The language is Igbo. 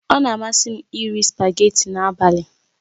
Ọ na-amasị m iri spageetí n'abalị